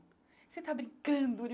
Você está brincando?